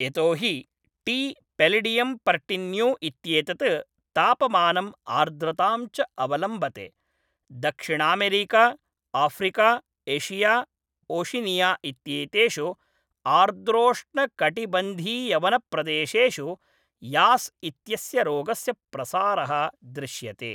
यतो हि टी पेलिडियम् पर्टीन्यू इत्येतत् तापमानम् आर्द्रतां च अवलम्बते, दक्षिणामेरिका, आफ़्रिका, एशिया, ओशिनिया इत्येतेषु आर्द्रोष्णकटिबन्धीयवनप्रदेशेषु यास् इत्यस्य रोगस्य प्रसारः दृश्यते।